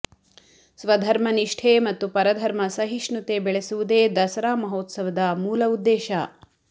ಸ್ವಧರ್ಮನಿಷ್ಠೆ ಮತ್ತು ಪರಧರ್ಮ ಸಹಿಷ್ಣುತೆ ಬೆಳೆಸುವುದೇ ದಸರಾ ಮಹೋತ್ಸವದ ಮೂಲ ಉದ್ದೇಶ